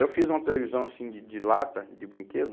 Eu fiz uma televisão assim, de de lata, de brinquedo,